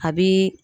A bi